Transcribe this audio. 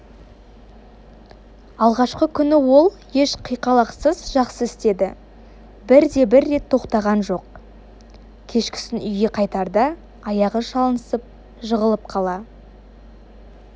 алғашқы күні ол еш қиқалақсыз жақсы істеді бірде-бір рет тоқтаған жоқ кешкісін үйге қайтарда аяғы шалынысып жығылып қала